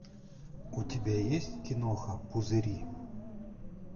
у тебя есть киноха пузыри